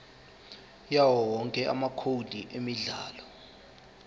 yawowonke amacode emidlalo